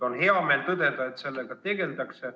On hea meel tõdeda, et sellega tegeldakse.